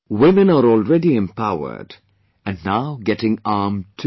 Women are already empowered and now getting armed too